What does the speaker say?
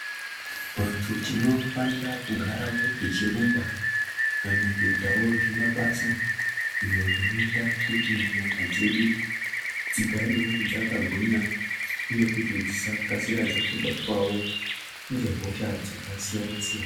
Vantu tinofanira kugarawo tichirumba kana kuitawo zvimabasa izvo zvinoita kuti nyama dzedu dzigarewo dzakagwinya uye kuti dzisakasira dzangobatwawo ngehosha dzakasiyanasiyana.